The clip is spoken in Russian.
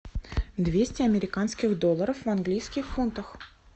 двести американских долларов в английских фунтах